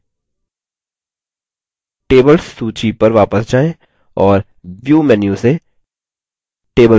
tables सूची पर वापस जाएँ और view menu से tables को refresh करें